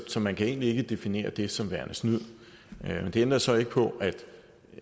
så man kan egentlig ikke definere det som værende snyd det ændrer så ikke på at